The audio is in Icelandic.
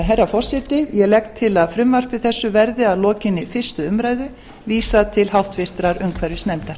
herra forseti ég legg til að frumvarpi þessu verði að lokinni fyrstu umræðu vísað til háttvirtrar umhverfisnefndar